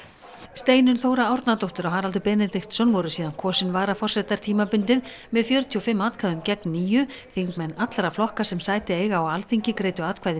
Steinunn Þóra Árnadóttir og Haraldur Benediktsson voru síðan kosin varaforsetar tímabundið með fjörutíu og fimm atkvæðum gegn níunda þingmenn allra flokka sem sæti eiga á Alþingi greiddu atkvæði